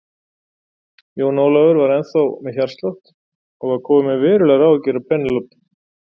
Jón Ólafur var ennþá með hjártslátt og var kominn með verulegar áhyggjur af Penélope.